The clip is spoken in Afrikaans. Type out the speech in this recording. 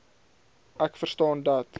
ek verstaan dat